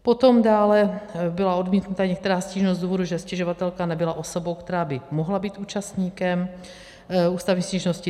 Potom byla dále odmítnuta některá stížnost z důvodu, že stěžovatelka nebyla osobou, která by mohla být účastníkem ústavní stížnosti.